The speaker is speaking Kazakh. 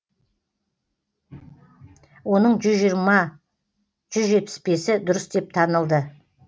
оның жүз жиырма жүз жетпіс бесі дұрыс деп танылды